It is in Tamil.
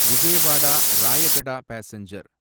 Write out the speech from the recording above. விஜயவாடா ராயகடா பாசெஞ்சர்